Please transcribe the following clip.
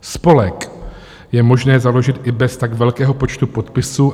Spolek je možné založit i bez tak velkého počtu podpisů.